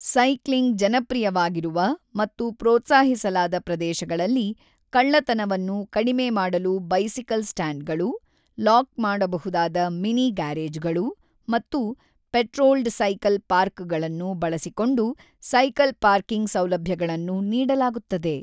Cycling ಜನಪ್ರಿಯವಾಗಿರುವ ಮತ್ತು ಪ್ರೋತ್ಸಾಹಿಸಲಾದ ಪ್ರದೇಶಗಳಲ್ಲಿ, ಕಳ್ಳತನವನ್ನು ಕಡಿಮೆ ಮಾಡಲು ಬೈಸಿಕಲ್ ಸ್ಟ್ಯಾಂಡ್‌ಗಳು, ಲಾಕ್ ಮಾಡಬಹುದಾದ ಮಿನಿ-ಗ್ಯಾರೇಜ್‌ಗಳು ಮತ್ತು ಪೆಟ್ರೋಲ್ಡ್ ಸೈಕಲ್ ಪಾರ್ಕ್‌ಗಳನ್ನು ಬಳಸಿಕೊಂಡು ಸೈಕಲ್-ಪಾರ್ಕಿಂಗ್ ಸೌಲಭ್ಯಗಳನ್ನು ನೀಡಲಾಗುತ್ತದೆ.